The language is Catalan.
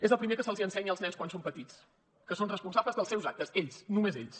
és el primer que se’ls ensenya als nens quan són petits que són responsables dels seus actes ells només ells